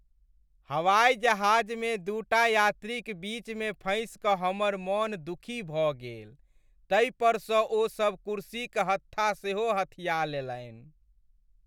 हवाइजहाजमे दूटा यात्रीक बीच मे फँसि क हमर मन दुखी भऽ गेल तै पर स ओ सब कुर्सीक हत्था सेहो हथिया लेलनि ।